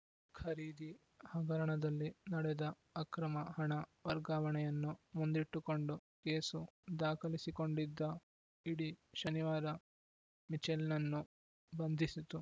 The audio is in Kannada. ಖರೀದಿ ಹಗರಣದಲ್ಲಿ ನಡೆದ ಅಕ್ರಮ ಹಣ ವರ್ಗಾವಣೆಯನ್ನು ಮುಂದಿಟ್ಟುಕೊಂಡು ಕೇಸು ದಾಖಲಿಸಿಕೊಂಡಿದ್ದ ಇಡಿ ಶನಿವಾರ ಮಿಚೆಲ್‌ನನ್ನು ಬಂಧಿಸಿತು